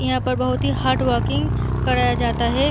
यहाँ पे बोहोत ही हार्डवर्किंग कराया जाता है।